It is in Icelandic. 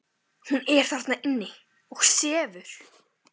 THEODÓRA: Hún er þarna inni og sefur.